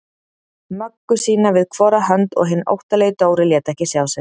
Möggu sína við hvora hönd og hinn óttalegi Dóri lét ekki sjá sig.